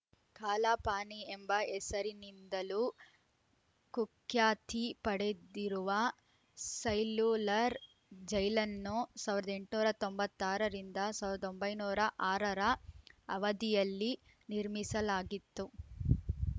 ಕಾಲಾ ಪಾನಿ ಎಂಬ ಹೆಸರಿನಿಂದಲೂ ಕುಖ್ಯಾತಿ ಪಡೆದಿರುವ ಸೈಲ್ಯುಲರ್‌ ಜೈಲನ್ನು ಸಾವಿರದ ಎಂಟುನೂರ ತೊಂಬತ್ತ್ ಆರ ರಿಂದ ಸಾವಿರದ ಒಂಬೈನೂರ ಆರ ರ ಅವಧಿಯಲ್ಲಿ ನಿರ್ಮಿಸಲಾಗಿತ್ತು